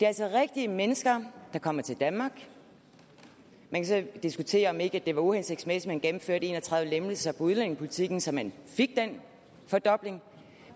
altså rigtige mennesker der kommer til danmark man kan så diskutere om ikke det var uhensigtsmæssigt at man gennemførte en og tredive lempelser i udlændingepolitikken så man fik den fordobling